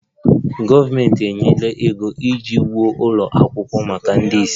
Gọọmenti enyela ego iji wuo ụlọ akwụkwọ maka ndị ìsì